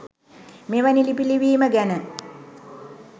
මෙවැනි ලිපි ලිවිම ගැන.